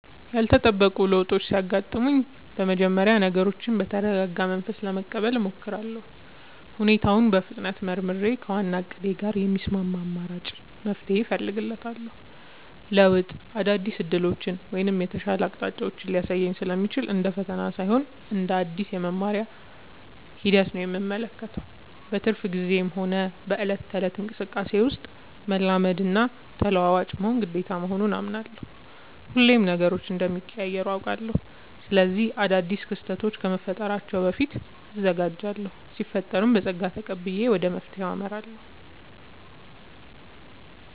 ያልተጠበቁ ለውጦች ሲያጋጥሙኝ በመጀመሪያ ነገሮችን በተረጋጋ መንፈስ ለመቀበል እሞክራለሁ። ሁኔታውን በፍጥነት መርምሬ፣ ከዋናው እቅዴ ጋር የሚስማማ አማራጭ መፍትሄ እፈልጋለሁ። ለውጥ አዳዲስ ዕድሎችን ወይም የተሻሉ አቅጣጫዎችን ሊያሳይ ስለሚችል፣ እንደ ፈተና ሳይሆን እንደ አዲስ የመማሪያ ሂደት ነው የምመለከተው። በትርፍ ጊዜዬም ሆነ በዕለት ተዕለት እንቅስቃሴዬ ውስጥ፣ መላመድና ተለዋዋጭ መሆን ግዴታ መሆኑን አምናለሁ። ሁሌም ነገሮች እንደሚቀያየሩ አውቃለሁ። ስለዚህ አዳዲስ ክስተቶች ከመፈጠራቸው በፊት እዘጋጃለሁ ሲፈጠርም በፀጋ ተቀብዬ ወደ መፍትሄው አመራለሁ።